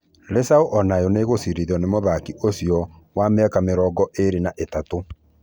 Rĩcaũ onayo nĩgucĩrĩirio nĩ mũthaki ũcio wa mĩaka mĩrongo ĩrĩ na ĩtatũ.